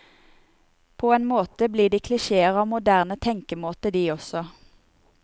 På en måte blir de klisjeer av moderne tenkemåte de også.